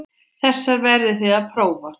Þessar verðið þið að prófa.